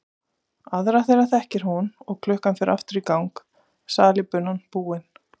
Aðra þeirra þekkir hún og klukkan fer aftur í gang, salíbunan búin.